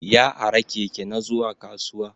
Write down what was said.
Ya ara Keke na zuwa kasuwa.